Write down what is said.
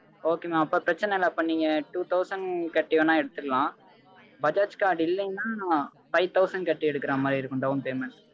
okay mam அப்போ பிரச்சணை இல்ல அப்போ நீங்க two thousand கட்டி வேணா எடுத்துக்கலாம் bajaj card இல்ல னா five thousand கட்டி எடுக்கிறமாரி இருக்கும் down payment